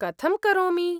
कथं करोमि?